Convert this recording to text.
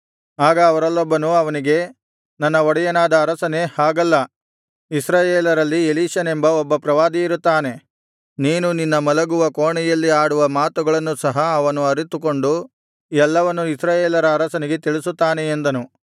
ಆಗ ಅವರಲ್ಲೊಬ್ಬನು ಅವನಿಗೆ ನನ್ನ ಒಡೆಯನಾದ ಅರಸನೇ ಹಾಗಲ್ಲ ಇಸ್ರಾಯೇಲರಲ್ಲಿ ಎಲೀಷನೆಂಬ ಒಬ್ಬ ಪ್ರವಾದಿಯಿರುತ್ತಾನೆ ನೀನು ನಿನ್ನ ಮಲಗುವ ಕೋಣೆಯಲ್ಲಿ ಆಡುವ ಮಾತುಗಳನ್ನು ಸಹ ಅವನು ಅರಿತುಕೊಂಡು ಎಲ್ಲವನ್ನೂ ಇಸ್ರಾಯೇಲರ ಅರಸನಿಗೆ ತಿಳಿಸುತ್ತಾನೆ ಎಂದನು